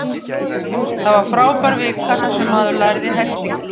Það var frábær vika þar sem maður lærði helling.